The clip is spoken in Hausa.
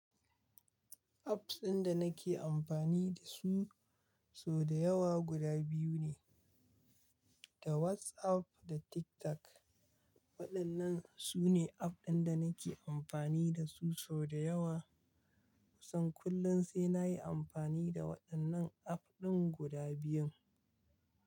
Apps ɗin da nake amfani da su sau da yawa guda biyu ne, da WhatsApp da TikTok. Waɗannan su ne app ɗin da nake amfani da su sau da yawa. Kusan kullum sai na yi amfani da waɗannan app ɗin guda biyun.